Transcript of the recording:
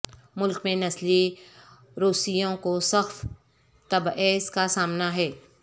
ملک میں نسلی روسیوں کو سخت تبعیض کا سامنا ہے